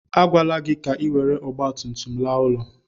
A gwala gị ka ị were ọgbatumtum laa ụlọ.